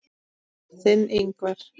Þinn, Ingvar.